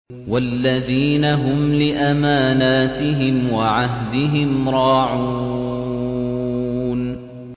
وَالَّذِينَ هُمْ لِأَمَانَاتِهِمْ وَعَهْدِهِمْ رَاعُونَ